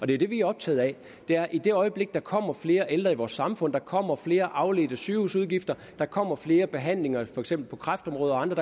det er det vi er optaget af i det øjeblik der kommer flere ældre i vores samfund der kommer flere afledte sygehusudgifter der kommer flere behandlinger for eksempel på kræftområdet og andre